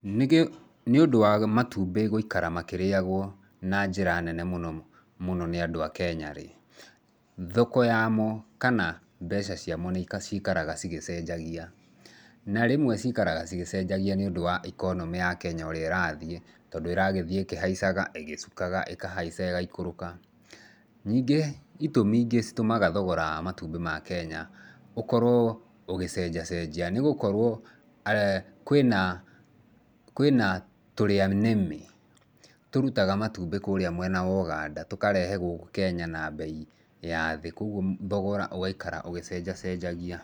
Nĩũndũ wa matumbĩ gũikara makĩrĩagwo na njĩra nene mũno mũno nĩ andũ a Kenya rĩ, thoko yamo kana mbeca ciamo nĩ ciikaraga cigĩcenjagia. Na rĩmwe ciikaraga cigĩcenjagia nĩũndũ wa economy ya Kenya o ũrĩa ĩrathiĩ, tondũ ĩragĩthiĩ ĩkĩhaicaga, ĩgĩcukaga, ĩkahaica ĩgaikũrũka. Nĩngĩ, itũmi ingĩ itũmaga thogora wa matumbĩ ma Kenya ũkorwo ũgecenjacenjia nĩ gũkorwo kwĩna kwĩna tũrĩanĩme tũrutaga matumbĩ kũrĩa mwena wa Ũganda, tũkarehe gũkũ Kenya na mbei ya thĩ, kwoguo thogora ũgaikara ũgĩcenjacenjagia.